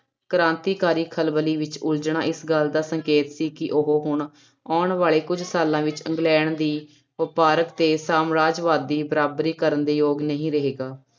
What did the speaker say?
ਕ੍ਰਾਂਤੀਕਾਰੀ ਖਲਬਲੀ ਵਿੱਚ ਉਲਝਣਾ ਇਸ ਗੱਲ ਦਾ ਸੰਕੇਤ ਸੀ ਕਿ ਉਹ ਹੁਣ ਆਉਣ ਵਾਲੇ ਕੁੱਝ ਸਾਲਾਂ ਵਿੱਚ ਇੰਗਲੈਂਡ ਦੀ ਵਪਾਰਕ ਅਤੇ ਸਾਮਰਾਜਵਾਦ ਦੀ ਬਰਾਬਰੀ ਕਰਨ ਦੇ ਯੋਗ ਨਹੀਂ ਰਹੇਗਾ।